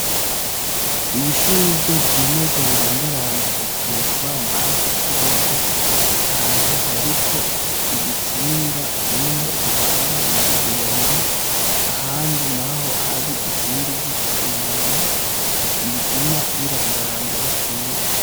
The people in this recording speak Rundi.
Ibishugwe vyimeza birandaranda hejuru kukibambasi c'urugo ahantu hariko urutsinga rumwe rubandanya rugenda ahandi naho hari ikindi giti inyuma biguma birandaranda ari vyinshi.